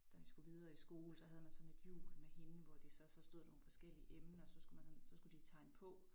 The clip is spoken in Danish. Da vi skulle videre i skole så havde man sådan et hjul med hende hvor de så så stod der nogle forskellige emner så skulle man så så skulle de tegne på